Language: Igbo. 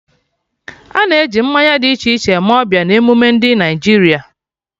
Ana e ji mmanya dị iche iche eme ọbịa na emume ndị Naịjirịa